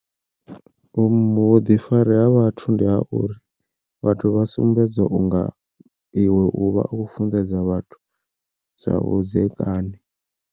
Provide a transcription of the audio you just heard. Vhuḓifari ha vhathu ndi a uri vhathu vha sumbedza unga iwe u vha u funḓedza vhathu zwa vhudzekani.